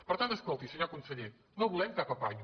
per tant escolti senyor conseller no volem cap apanyo